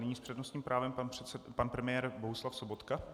Nyní s přednostním právem pan premiér Bohuslav Sobotka.